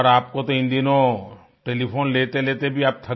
और आपको तो इन दिनों टेलिफोन लेतेलेते भी आप